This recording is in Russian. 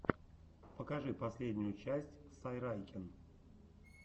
покажи последнюю часть сайрайкен